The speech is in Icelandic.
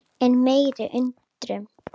Enn meiri undrun